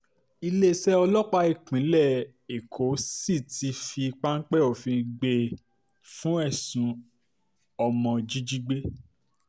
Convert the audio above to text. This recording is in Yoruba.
iléeṣẹ́ ọlọ́pàá ìpínlẹ̀ um èkó sì ti fi páńpẹ́ òfin gbé e fún ẹ̀sùn ọmọ um jíjígbé